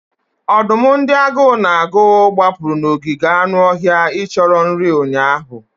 Ọdụm ndị agụụ na-agụ gbapụrụ n'ogige anụ ọhịa icho nri ụnyaahụ.